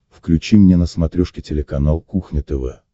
включи мне на смотрешке телеканал кухня тв